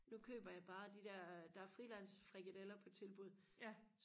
nu køber jeg bare de der der er frilandsfrikadeller på tilbud